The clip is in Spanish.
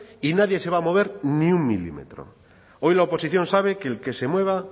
y nadie se va a mover ni un milímetro hoy la oposición sabe que el que se mueva